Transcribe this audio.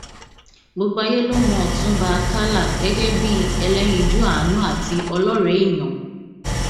gbogbo ayé ló mọ ọtúnba àkàlà gẹgẹ bíi ẹlẹyinjú àánú àti ọlọrẹ èèyàn